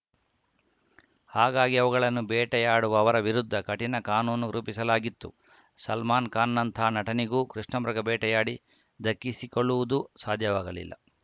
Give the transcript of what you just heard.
ಹಾಗಾಗಿ ಅವುಗಳನ್ನು ಬೇಟೆಯಾಡುವವರ ವಿರುದ್ಧ ಕಠಿಣ ಕಾನೂನು ರೂಪಿಸಲಾಗಿತ್ತು ಸಲ್ಮಾನ್‌ಖಾನ್‌ನಂಥ ನಟನಿಗೂ ಕೃಷ್ಣಮೃಗ ಬೇಟೆಯಾಡಿ ದಕ್ಕಿಸಿಕೊಳ್ಳುವುದು ಸಾಧ್ಯವಾಗಲಿಲ್ಲ